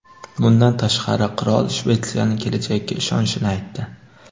Bundan tashqari, qirol Shvetsiyaning kelajagiga ishonishini aytdi.